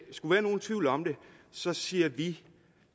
skulle være nogen tvivl om det så siger vi